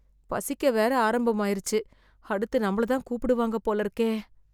பசிக்க வேற ஆரம்பமாயிறுச்சு அடுத்து நம்மள தான் கூப்பிடுவாங்க போல இருக்கே